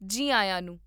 ਜੀ ਆਇਆਂ ਨੂੰ